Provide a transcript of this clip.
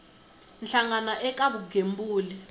hlangano eka ku kuma vugembuli